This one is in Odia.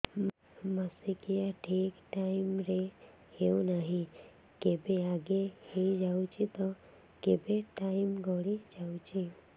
ମାସିକିଆ ଠିକ ଟାଇମ ରେ ହେଉନାହଁ କେବେ ଆଗେ ହେଇଯାଉଛି ତ କେବେ ଟାଇମ ଗଡି ଯାଉଛି